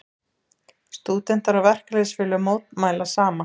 Stúdentar og verkalýðsfélög mótmæla saman